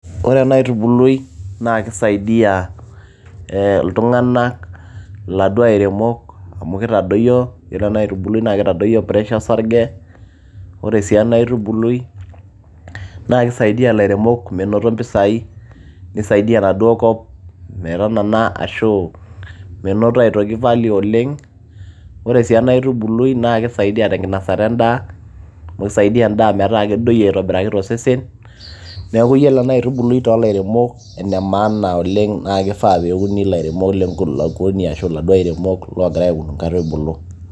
ore ena aitubului naa kisaidiyia iltung'anak ee iladuo airemok amu kitadoyio yiolo ena aitubului naa kitadoyio pressure osarge ore sii ena aitubului naa kisaidiyia ilairemok menoto impisai nisaidiyia enaduo kop metanana ashu menoto aitoki value oleng ore sii ena aitubului naa kisaidiyia tenkinasata endaa amu kisaidia endaa metaa kedoyio aitobiraki tosesen neeku yiolo ena aitubului toolairemok ene maana oleng naa kifaa peuni ilairemok lenkulukuoni ashu iladuo airemok oogira aun inkaitubulu.